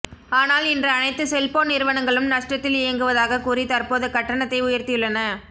ஆனால் இன்று அனைத்து செல்போன் நிறுவனங்களும் நஷ்டத்தில் இயங்குவதாக கூறி தற்போத கட்டணத்தை உயர்த்தியுள்ளன